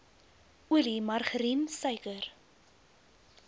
olie margarien suiker